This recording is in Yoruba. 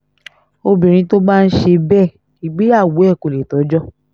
obìnrin tó bá ń ṣe bẹ́ẹ̀ ìgbéyàwó ẹ̀ kò lè tọ́jọ́